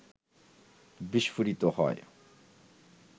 বিস্ফোরিত হয়